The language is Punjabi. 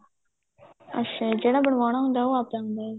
ਅੱਛਾ ਜੀ ਜਿਹੜਾ ਬਣਵਾਉਣਾ ਹੁੰਦਾ ਉਹ ਆਪਦਾ ਹੁੰਦਾ